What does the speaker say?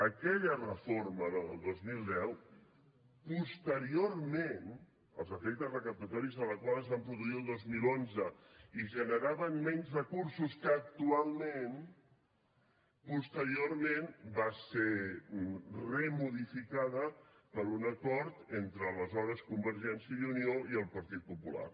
aquella reforma la del dos mil deu posteriorment els efectes recaptatoris de la qual es van produir el dos mil onze i generaven menys recursos que actualment va ser remodificada per un acord entre aleshores convergència i unió i el partit popular